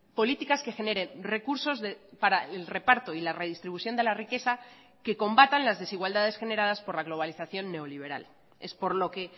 políticas que generen recursos para el reparto y la redistribución de la riqueza que combatan las desigualdades generadas por la globalización neoliberal es por lo que